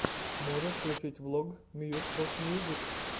можешь включить влог мьюс оф мьюзик